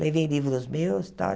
Levei livros meus e tal.